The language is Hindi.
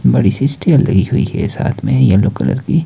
बड़ी सी स्टेयर लगी हुई है साथ में येलो कलर की।